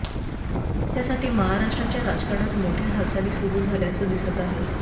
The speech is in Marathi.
त्यासाठी महाराष्ट्राच्या राजकारणात मोठ्या हालचाली सुरु झाल्याच दिसत आहे